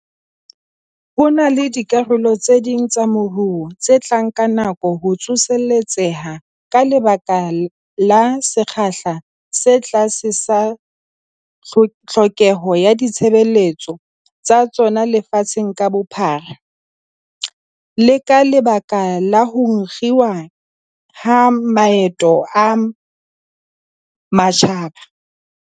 Ho na le dikarolo tse ding tsa moruo tse tla nka nako ho tsoseletseha ka lebaka la sekgahla se tlase sa tlhokeho ya ditshebeletso tsa tsona lefatsheng ka bophara, le ka lebaka la ho kginwa ha maeto a matjhaba.